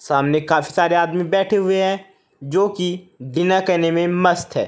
सामने काफी सारे आदमी बैठे हुए हैं जो कि डिनर करने में मस्त हैं।